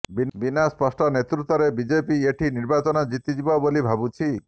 ବିନା ସ୍ପଷ୍ଟ ନେତୃତ୍ବରେ ବିଜେପି ଏଠି ନିର୍ବାଚନ ଜିତିଯିବ ବୋଲି ଭାବୁଛି